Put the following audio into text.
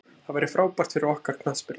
Það væri frábært fyrir okkar knattspyrnu.